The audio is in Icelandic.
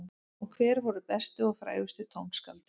Og hver voru bestu og frægustu tónskáldin?